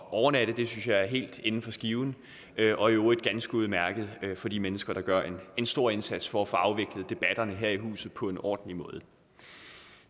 at overnatte det synes jeg er helt inden for skiven og i øvrigt ganske udmærket for de mennesker der gør en stor indsats for at få afviklet debatterne her i huset på en ordentlig måde